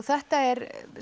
þetta er